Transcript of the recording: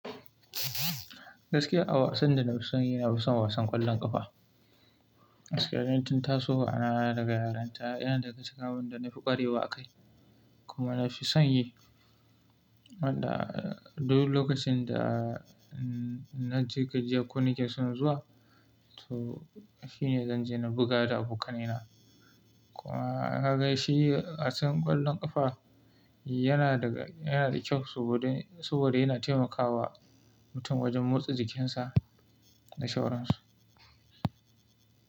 Gaskiya a wasan da na fi son yi, na fi son wasan ƙwallon ƙafa. Agaskiya tun tasowa na daga yarinta yana daga shicikin abinda na fi ƙwarewa a kai kuma na fi son yi. Wanda duk lokacin da na ji gajiya ko nike son zuwa, to shine zan je na buga da abokanai na. Kuma haka shi wasan ƙwallon ƙafa yana daga, yana da kyau saboda, saboda yana taimakawa mutum wajen motsa jikinsa da sauransu.